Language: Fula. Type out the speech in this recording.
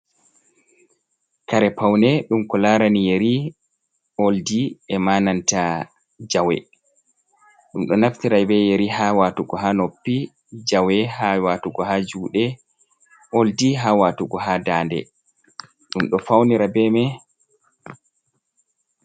Kare paune ɗum ko larani yeri, oldi, ema nanta jawe, ɗum ɗo naftira be yeri ha watugo ha noppi, jawe ha watugo ha juɗe, oldi ha watugo ha dande, ɗum ɗo faunira be mai.